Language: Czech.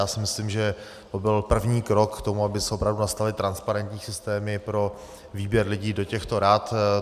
Já si myslím, že to byl první krok k tomu, aby se opravdu nastavily transparentní systémy pro výběr lidí do těchto rad.